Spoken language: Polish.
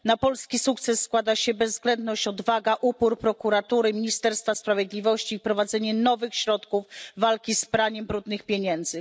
Na polski sukces składa się bezwzględność, odwaga, upór prokuratury i Ministerstwa Sprawiedliwości oraz wprowadzenie nowych środków walki z praniem brudnych pieniędzy.